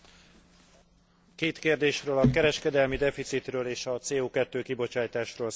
Két kérdésről a kereskedelmi deficitről és a CO2 kibocsátásról szeretnék beszélni.